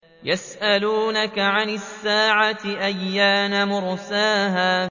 يَسْأَلُونَكَ عَنِ السَّاعَةِ أَيَّانَ مُرْسَاهَا